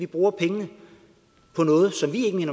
bruger pengene på noget som vi ikke